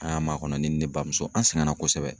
An y'a makɔnɔ ni ne bamuso, an sɛgɛnna kosɛbɛ.